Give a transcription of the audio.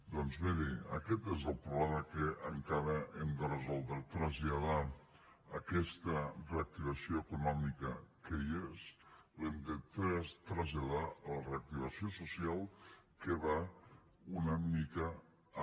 doncs miri aquest és el problema que encara hem de resoldre traslladar aquesta reactivació econòmica que hi és l’hem de traslladar a la reactivació social que va una mica amb